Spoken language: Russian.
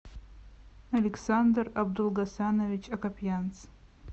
александр абдулгасанович акопьянц